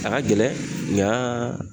A ka gɛlɛn nka